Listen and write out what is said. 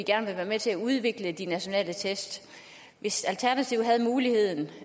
gerne vil være med til at udvikle de nationale test hvis alternativet havde muligheden